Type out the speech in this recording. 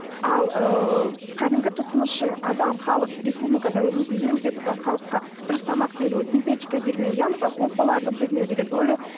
ал ыыы кәдімгі тұтынушы адам халық республикада өзіміздің елімізде тұрған халыққа дұрыс тамақ беру синтетика бермеу иә мысалы қоспаларды бермеу деген өлі